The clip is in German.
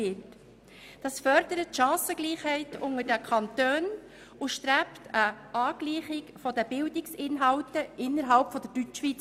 Dies fördert die Chancengleichheit zwischen den Kantonen und geht in Richtung einer Angleichung der Bildungsinhalte innerhalb der Deutschschweiz.